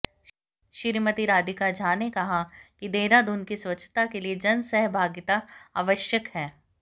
श्रीमती राधिका झा ने कहा कि देहरादून की स्वच्छता के लिए जनसहभागिता आवश्यक है